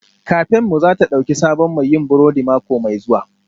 Kafenmu za ta ɗauki sabon mai yin burodi mako mai zuwa